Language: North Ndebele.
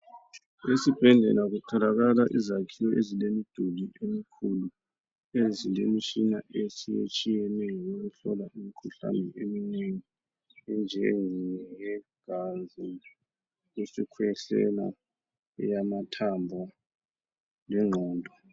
Esibhedlela kutholakala izakhiwo ezilemiduli emikhulu. Ezilemitshina otshiyetshiyeneyo, eyokuhlola imkhuhlane eminengi. Enjengeyegazi, isikhwehlela, eyamathambo, lengqondo.